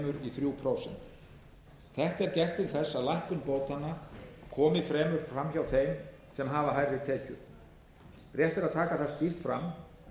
í þrjú prósent þetta er gert til þess að lækkun bótanna komi fremur fram hjá þeim sem hafa hærri tekjur rétt er að taka það skýrt fram